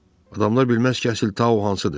Adamlar bilməz ki, əsil Tau hansıdır.